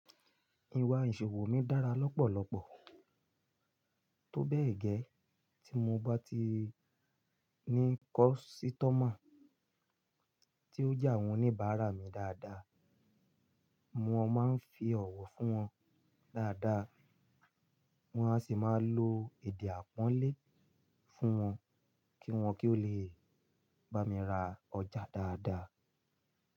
Ìwà ìṣòwò mi dára lọ́pọ̀lọpọ̀, tó bẹ́ẹ̀ gẹ́, tí mo bá ti ní kọ́sítọ́mà tí ó jà wọ́n oníbààrá mi dáadáa, mo máa ń fi ọ̀wọ̀ fún wọn dáadáa, wọn a sì máa lo èdè àpọ́nlé fún wọn kí wọn kí ó lè bá mi ra ọjà dáadáa.